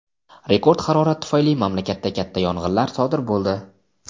Rekord harorat tufayli mamlakatda katta yong‘inlar sodir bo‘ldi.